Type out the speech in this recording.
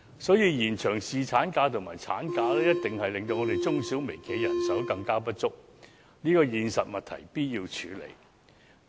所以，延長侍產假及產假一定會令中小微企的人手更加不足，這個現實問題必須處理。